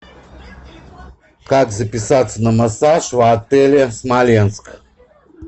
как записаться на массаж в отеле смоленск